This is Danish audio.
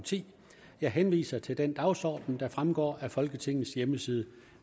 ti jeg henviser til den dagsorden der fremgår af folketingets hjemmeside